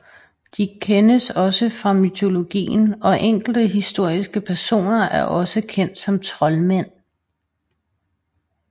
De kendes også fra mytologien og enkelte historiske personer er også kendt som troldmænd